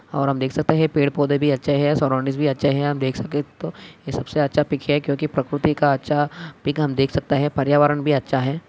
और हम देख सकते हैं पेड़ पौधे भी अच्छा है या सराउंडिंग भी अच्छा है आप देख सके तो यह सबसे अच्छा पिक है क्योंकि प्रकृति का अच्छा पिक हम देख सकता है पर्यावरण भी अच्छा है।